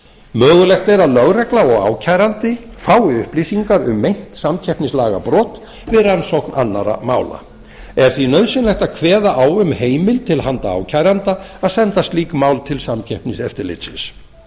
mögulegt er að lögregla og ákærandi fái upplýsingar um meint samkeppnislagabrot við rannsókn annarra mála er því nauðsynlegt að kveða á um heimild til handa ákæranda að senda slík mál til samkeppniseftirlitsins